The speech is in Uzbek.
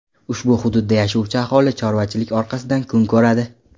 Ushbu hududda yashovchi aholi chorvachilik orqasidan kun ko‘radi.